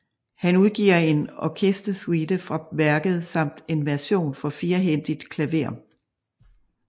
Han udgiver en orkestersuite fra værket samt en version for firehændigt klaver